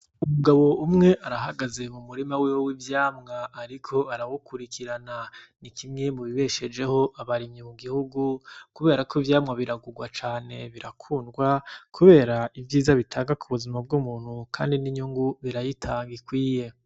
Umugabo umwe arahagaze mu murima wiwe w'ivyama ariko arawukurikirana. Ni kimwe mu bibeshejeho abarimyi mu gihugu, kubera ko ivyama biragugwa cane, birakundwa, kubera ivyiza bitanga ku buzima bw'umuntu kandi n'inyungu birayitanga ikwiye.